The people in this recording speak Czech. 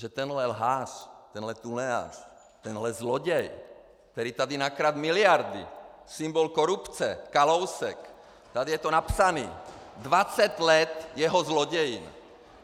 Že tenhle lhář, tenhle tunelář, tenhle zloděj, který tady nakradl miliardy, symbol korupce, Kalousek, tady je to napsané, dvacet let jeho zlodějin!